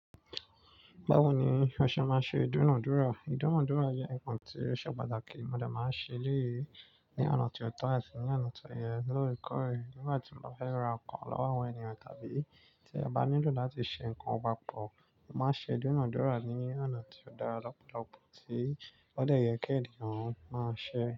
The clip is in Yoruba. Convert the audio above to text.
Báwo ni o ṣe máa ṣe ìdúnadúrà? Ìdúnadúrà jẹ́ nǹkan tí ó ṣe pàtàkì, mo dẹ máa ń ṣe léyìí ní ọ̀nà tí ó tọ́ àti ní ọ̀nà tọ́ yẹ lórekooré. Nígbà tí mo bá fẹ́ ra nǹkan lọ́wọ́ àwọn ènìyàn tàbí tí a bá nílò láti ṣe nǹkan papọ̀, mo máa ń ṣe ìdúnadúrà ní ọ̀nà tí ó dára lọ́pọ̀lọpọ̀ tí ó dẹ̀ yẹ kí ènìyàn máa ṣe.